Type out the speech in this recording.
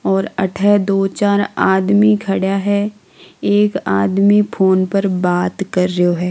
और आठे दो चार आदमी खड़ा है एक आदमी फ़ोन पर बात कर रयो है।